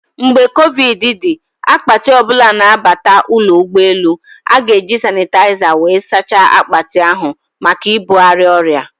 Mgbe covid dị, akpati ọbụla na abata ụlọ ụgbọ elu, a-ga eji sanịtaịza wee saachaa akpati ahụ maka ibugharị ọrịa